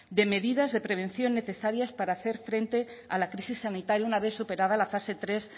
de medidas de prevención necesarias para hacer frente a la crisis sanitaria una vez superada la fase tres